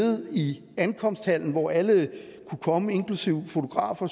i ankomsthallen hvor alle kunne komme inklusive fotografer